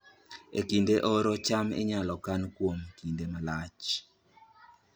E kinde oro, cham inyalo kan kuom kinde malach